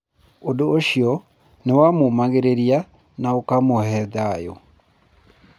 Ũndũ ũcio nĩ wamũũmagĩrĩria na ũkĩmũve thayũ.